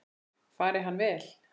Fari hann vel.